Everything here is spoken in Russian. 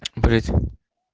впредь